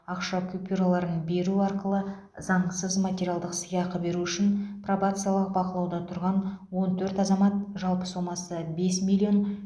ақша купюраларын беру арқылы заңсыз материалдық сыйақы беру үшін пробациялық бақылауда тұрған он төрт азамат жалпы сомасы бес миллион